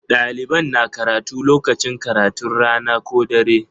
Ɗalibai na karatu lokacin karatun rana ko na dare.